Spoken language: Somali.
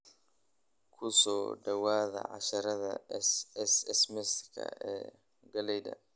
"Ku soo dhawaada casharrada SMS-ka ee galleyda.